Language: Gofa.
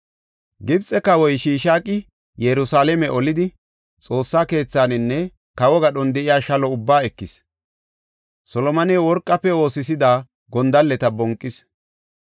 Gibxe kawoy Shishaaqi Yerusalaame olidi, Xoossa keethaninne kawo gadhon de7iya shalo ubbaa ekis. Solomoney worqafe oosisida gondalleta bonqis.